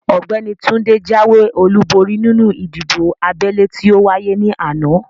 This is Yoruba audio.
Ọ̀gbẹ́ni Túndé jáwé olúborí nínú ìdìbò abẹ́lé tí ówáyé ní àná